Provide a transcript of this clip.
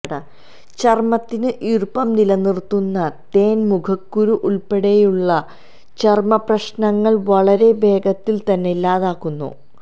ചര്മ്മത്തിന് ഈര്പ്പം നിലനിര്ത്തുന്ന തേന് മുഖക്കുരു ഉള്പ്പെടെയുള്ള ചര്മ്മപ്രശ്നങ്ങളെ വളരെ വേഗത്തില് തന്നെ ഇല്ലാതാക്കുന്നു